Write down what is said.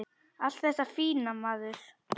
Allt þetta fína, maður.